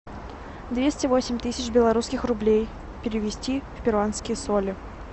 двести восемь тысяч белорусских рублей перевести в перуанские соли